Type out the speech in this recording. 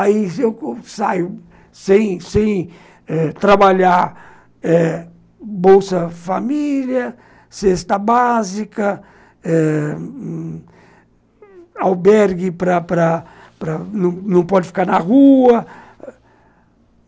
Aí eu saio sem sem trabalhar eh... bolsa-família, cesta básica eh, albergue, para para, não pode ficar na rua.